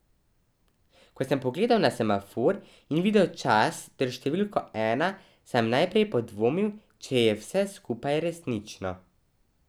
Ko sem pogledal na semafor in videl čas ter številko ena, sem najprej podvomil, če je vse skupaj resnično.